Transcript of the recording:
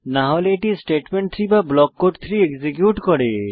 না হলে এটি স্টেটমেন্ট 3 বা ব্লক কোড 3 এক্সিকিউট করে